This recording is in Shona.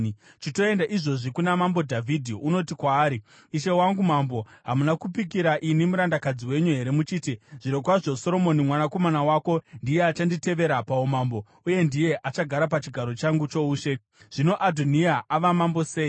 Chitoenda izvozvi kuna mambo Dhavhidhi unoti kwaari, ‘Ishe wangu mambo, hamuna kupikira ini murandakadzi wenyu here muchiti, “Zvirokwazvo Soromoni mwanakomana wako ndiye achanditevera paumambo, uye ndiye achagara pachigaro changu choushe?” Zvino Adhoniya ava mambo sei?’